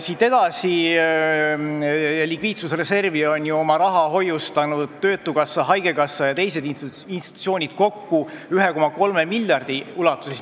Siit edasi, likviidsusreservi on oma raha hoiustanud töötukassa, haigekassa ja teised institutsioonid kokku 1,3 miljardi ulatuses.